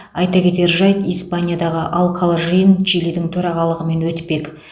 айта кетер жайт испаниядағы алқалы жиын чилидің төрағалымен өтпек